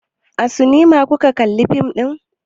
A sinima kuka kalla fim ɗin?